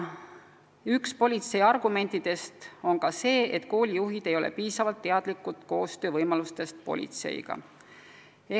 Üks politsei argument on see, et koolijuhid ei ole piisavalt teadlikud võimalustest politseiga koostööd teha.